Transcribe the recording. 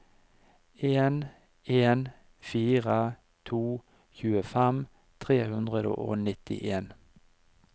en en fire to tjuefem tre hundre og nittien